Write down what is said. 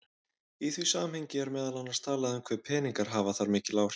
Í því samhengi er meðal annars talað um hve peningar hafi þar mikil áhrif.